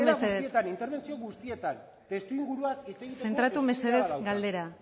mesedez galdera guztietan interbentzio guztietan testuinguruaz hitz egiteko zentratu mesedez galderan